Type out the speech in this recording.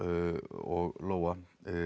og Lóa